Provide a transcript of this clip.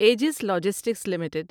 ages logistics limited